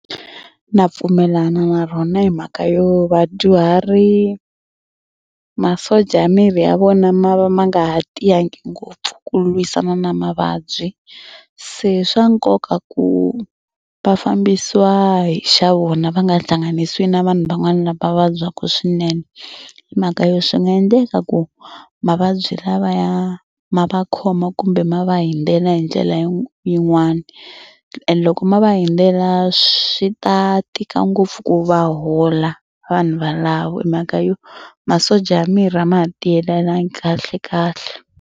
Na pfumelana na rona hi mhaka yo vadyuhari masocha ya miri ya vona ma va ma nga ha tiyangi ngopfu ku lwisana na mavabyi. Se swa nkoka ku va fambisiwa hi xa vona va nga hlanganisiwi na vanhu van'wana lava vabyaka swinene hi mhaka yo swi nga endleka ku mavabyi lavaya ma va khoma kumbe ma va hundzela hi ndlela yi yin'wani and loko ma va hundzela swi ta tika ngopfu ku va hola vanhu valava hi mhaka yo masocha ya miri a ma ha tiyelelangi kahlekahle.